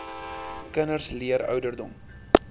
kinders leer ouderdom